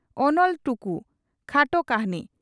"ᱚᱱᱚᱞ ᱴᱩᱠᱩ' (ᱠᱷᱟᱴᱚ ᱠᱟᱹᱦᱱᱤ)